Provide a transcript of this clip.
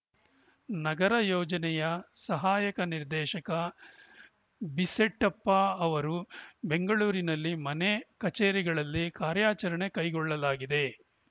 ನಗರ ಯೋಜನೆಯ ಸಹಾಯಕ ನಿರ್ದೇಶಕ ಬೀಸೆಟಪ್ಪ ಅವರು ಬೆಂಗಳೂರಿನಲ್ಲಿ ಮನೆ ಕಚೇರಿಗಳಲ್ಲಿ ಕಾರ್ಯಾಚರಣೆ ಕೈಗೊಳ್ಳಲಾಗಿದೆ